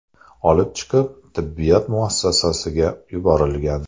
olib chiqilib, tibbiyot muassasasiga yuborilgan.